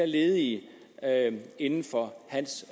ledige inden for hans